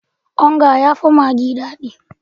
Onga ya fi maggi dadi